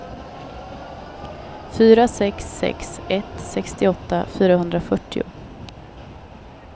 fyra sex sex ett sextioåtta fyrahundrafyrtio